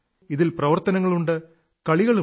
ഇതിൽ പ്രവർത്തനങ്ങളുണ്ട് കളികളുമുണ്ട്